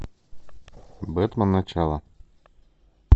бэтмен начало